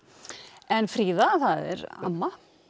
en Fríða það er amma